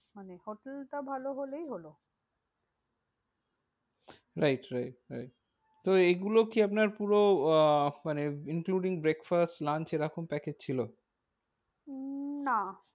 মানে হোটেলটা ভালো হলেই হলো। right right right তো এইগুলো কি আপনার পুরো আহ মানে including breakfast lunch এরকম package ছিল? উম না।